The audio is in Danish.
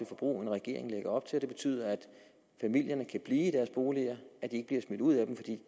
forbrug end regeringen lægger op til og det betyder at familierne kan blive i deres boliger at de ikke bliver smidt ud af dem fordi